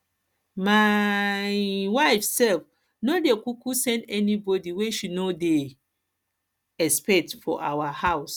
my um wife self no dey kuku send anybody wey she no dey expect for our house